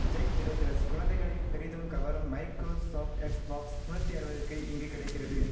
Jai traders குழந்தைகளை பெரிதும் கவரும் மைக்ரோ சாப்ட் எக்ஸ் பாக்ஸ் முந்நுத்தி அறுபதுக்கு இங்கு கிடைக்கிறது